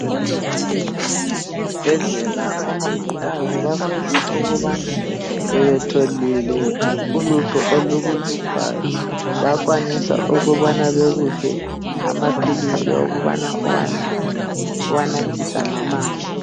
Ezibhedlela omongikazi bavame ukubana sebetholile ulutho olukuhluphayo bayakwanisa ukubana bekuphe amaphilisi okubana uwanathe uwanathisa ngamanzi.